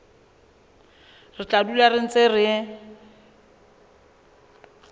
re tla dula re ntse